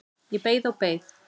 Ég beið og beið.